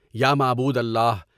یا معبود اللہ!